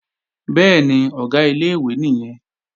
Bẹ́ẹ̀ni, Ọ̀gá ilé-ìwé nìyẹn